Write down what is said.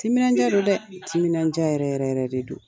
Timinan diya don dɛ, ni timinan diya yɛrɛ yɛrɛ yɛrɛ de don.